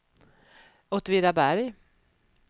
Åtvidaberg